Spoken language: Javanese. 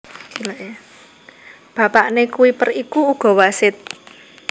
Bapakné Kuiper iku uga wasit